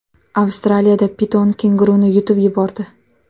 Avstraliyada piton kenguruni yutib yubordi .